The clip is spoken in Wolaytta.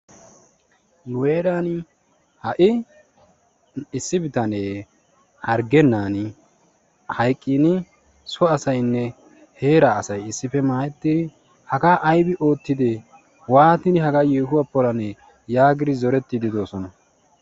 Nu heeraani ha'i issi bitanee hargennan hayqiini so asaynne heeraa asay issippe maayettidi hagaa aybbi ootidee waatidi hagaa yeehuwa planee? yaagidi zoretiidi de'oosona.